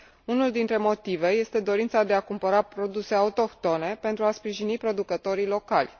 Unul dintre motive este dorința de a cumpăra produse autohtone pentru a sprijini producătorii locali.